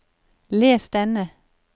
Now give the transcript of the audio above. les denne